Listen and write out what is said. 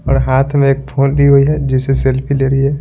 और हाथ में एक फोन ली हुई है जिससे सेल्फी ले रही है।